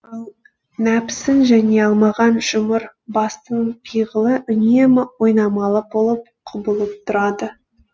ал нәпсісін жеңе алмаған жұмыр бастының пиғылы үнемі ойнамалы болып құбылып тұрады